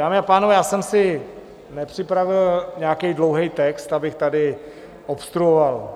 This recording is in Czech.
Dámy a pánové, já jsem si nepřipravil nějaký dlouhý text, abych tady obstruoval,